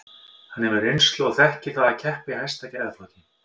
Hann hefur reynslu og þekkir það að keppa í hæsta gæðaflokki.